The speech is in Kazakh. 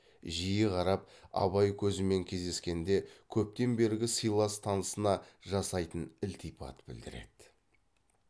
жиі қарап абай көзімен кездескенде көптен бергі сыйлас танысына жасайтын ілтипат білдіреді